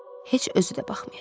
Heç özü də baxmayacaq.